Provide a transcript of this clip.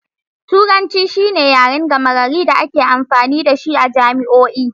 Turanci shine yaren gama gari da ake amfani da shi a jami'o'i.